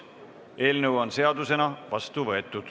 Eelnõu on seadusena vastu võetud.